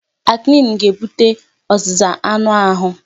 Acne ga-ebute ọzịza anụ ahụ.